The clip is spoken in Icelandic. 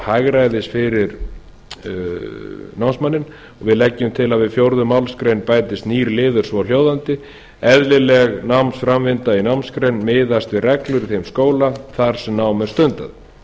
hagræðis fyrir námsmanninn og við leggjum til að við fjórðu málsgrein bætist nýr liður svohljóðandi eðlileg námsframvinda í námsgrein miðast við reglur í þeim skóla þar sem nám er